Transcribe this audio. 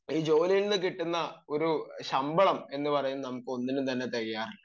ഈ ജോലിയിൽ നിന്നും എന്ന് പറയുന്നത് നമ്മൾക്ക് തികയാറില്ല